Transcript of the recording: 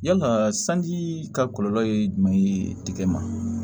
Yala sanji ka kɔlɔlɔ ye jumɛn ye tigɛ ma